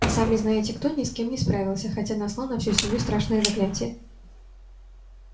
а сами-знаете-кто с ним не справился хотя наслал на всю семью страшное заклятие